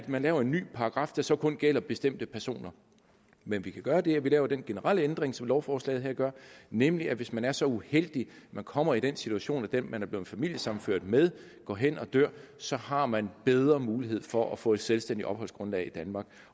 man laver en ny paragraf der så kun gælder bestemte personer men vi kan gøre det at vi laver den generelle ændring som lovforslaget her gør nemlig at hvis man er så uheldig at man kommer i den situation at den man er blevet familiesammenført med går hen og dør så har man bedre mulighed for at få et selvstændigt opholdsgrundlag i danmark